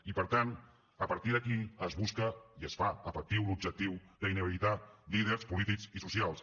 i per tant a partir d’aquí es busca i es fa efectiu l’objectiu d’inhabilitar líders polítics i socials